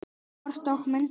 Kort og myndir